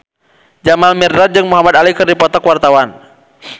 Jamal Mirdad jeung Muhamad Ali keur dipoto ku wartawan